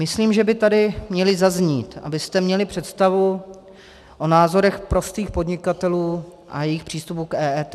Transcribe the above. Myslím, že by tady měly zaznít, abyste měli představu o názorech prostých podnikatelů a jejich přístupu k EET.